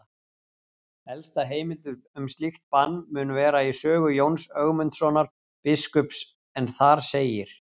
Elsta heimild um slíkt bann mun vera í sögu Jóns Ögmundssonar biskups en þar segir: